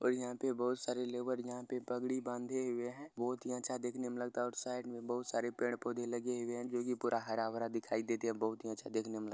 और यहां पे बहुत सारे लेबर यहां पे पगड़ी बांधे हुए हैं बहुत ही अच्छा देखने में लगता और साइड में बहुत सारे पेड़-पौधे लगे हुए हैं जो की पूरा हरा भरा दिखाई देते है बहुत ही अच्छा देखने में लग --